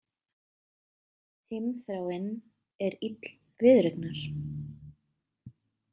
Heimþráin er ill viðureignar.